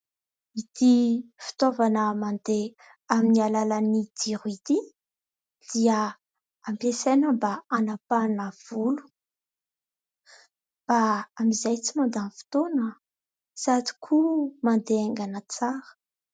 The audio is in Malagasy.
Ity fitaovana mandeha aminy alalan'ny jiro ity, dia ampiasaina mba hanapahana volo ; mba amin'izay tsy mandany fotoana sady koa mandeha haingana tsara.